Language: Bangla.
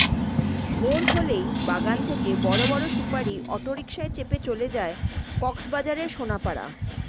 ভোর হলেই বাগান থেকে বড় বড় সুপারি অটোরিকশায় চেপে চলে যায় কক্সবাজারের সোনাপাড়া